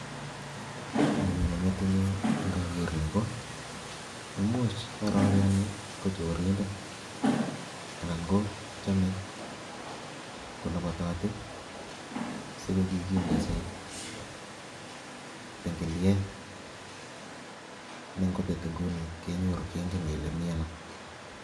Kiy ne nyone metinyu ngaker ni ko, imuch ngororiani ko chorindet anan kochame kolobototi, siko kikindochi tingiliet, nengobet inguni kengen kele mi ano.